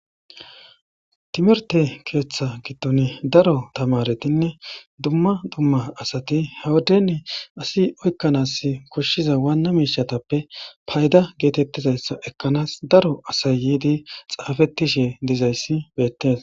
timerte keeththa giddon daro tamaretinne dumma dumma asati hewuden asi oykkanas koshshiza waanna miishatappe payda geetettizayssa ekkanaas daro asayyidi xaafettishe dizayssi beettees